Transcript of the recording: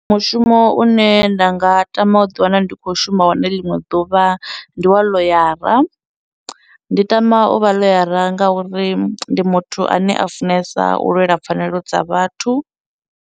Mushumo une nda nga tama u ḓi wana ndi khou shuma wone ḽiṅwe ḓuvha ndi wa ḽoyara, ndi tama u vha ḽoyara ngauri ndi muthu ane a funesa u lwela pfhanelo dza vhathu.